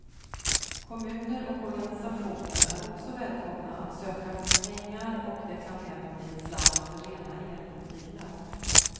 Kommuner och organisationer är också välkomna att söka pengar och det kan även bli en slant för rena elbilar.